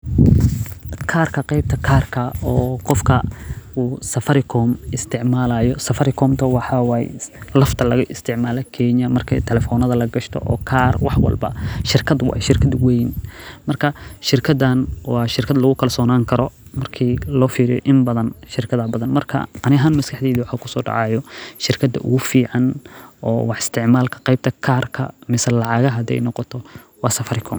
Karka qeebta kaarka oo qofka Safaricom laga isticmaalo, shirkad weyn waye waa shirkad lagu kasonaan Karo, shirkada ugu fican waye danka lacagaha hadii ladoho.